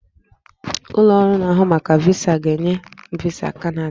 Ụlọ ọrụ na-ahụ maka VISA ga-enye m VISA Kanada